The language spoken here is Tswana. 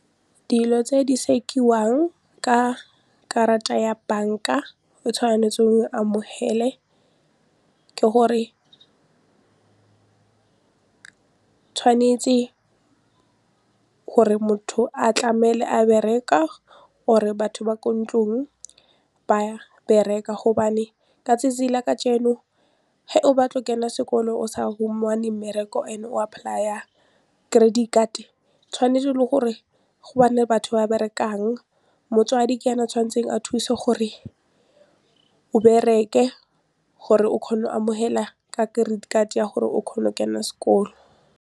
Dilo tse di sekiwang ka karata ya bank-a o tshwanetseng o e amohele ke gore tshwanetse gore motho a tlamele a bereka or-e batho ba ko ntlong ba bereka gobane ka 'tsatsi la kajeno ge o batla go kena sekolo and-e o sa humane mmereko and-e o apply-a credit card tshwanetse le gore go bane le batho ba berekang motswadi ke ene a tshwanetseng a thuse gore o bereke gore o kgone go amohela ka credit card gore o kgone o kena sekolo.